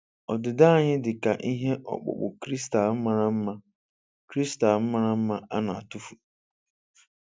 Ọdịda anyị dị ka ihe ọkpụkpụ kristal mara mma kristal mara mma a na-atụfu.